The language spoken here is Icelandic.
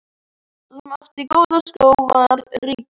Sá sem átti góða skó var ríkur.